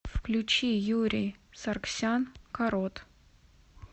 включи юрий саргсян карот